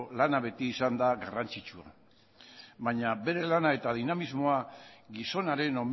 lana beti izan da garrantzitsua baina bere lana eta dinamismoa gizonaren